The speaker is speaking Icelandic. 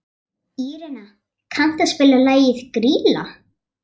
Írena, kanntu að spila lagið „Grýla“?